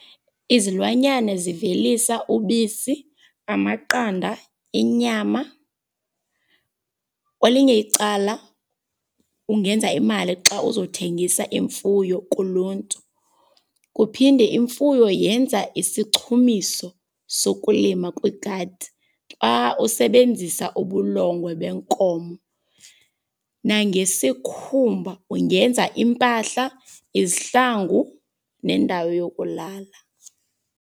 Izilwanyana zivelisa ubisi, amaqanda, inyama. Kwelinye icala ungenza imali xa uzawuthengisa imfuyo kuluntu, kuphinde imfuyo yenza isichumiso sokulima kwigadi xa usebenzisa ubulongwe benkomo. Nangesikhumba ungenza iimpahla, izihlangu nendawo yokulala